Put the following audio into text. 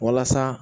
Walasa